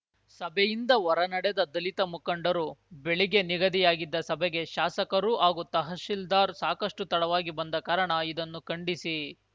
ಸಭೆಯಿಂದ ಹೊರನಡೆದ ದಲಿತ ಮುಖಂಡರು ಬೆಳಿಗ್ಗೆ ನಿಗದಿಯಾಗಿದ್ದ ಸಭೆಗೆ ಶಾಸಕರು ಹಾಗೂ ತಹಶೀಲ್ದಾರ್‌ ಸಾಕಷ್ಟುತಡವಾಗಿ ಬಂದ ಕಾರಣ ಇದನ್ನು ಖಂಡಿಸಿ